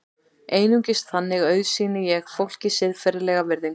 Einungis þannig auðsýni ég fólki siðferðilega virðingu.